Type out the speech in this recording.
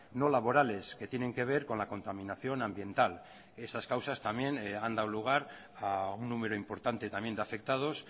no laborales que tienen que ver con la contaminación ambiental esas causas también han dado lugar a un número importante también de afectados